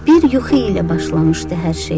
Bir yuxu ilə başlamışdı hər şey.